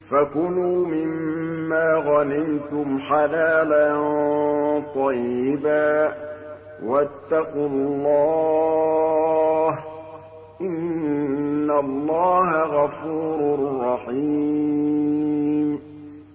فَكُلُوا مِمَّا غَنِمْتُمْ حَلَالًا طَيِّبًا ۚ وَاتَّقُوا اللَّهَ ۚ إِنَّ اللَّهَ غَفُورٌ رَّحِيمٌ